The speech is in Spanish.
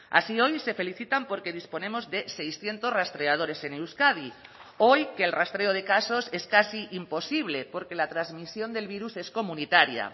así hoy se felicitan porque disponemos de seiscientos rastreadores en euskadi hoy que el rastreo de casos es casi imposible porque la transmisión del virus es comunitaria